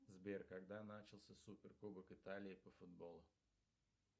сбер когда начался супер кубок италии по футболу